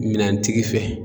Minɛntigi fɛ